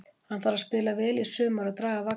Hann þarf að spila vel í sumar og draga vagninn.